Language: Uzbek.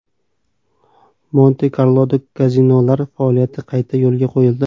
Monte-Karloda kazinolar faoliyati qayta yo‘lga qo‘yildi.